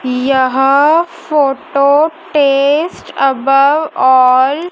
यह photo test अब all --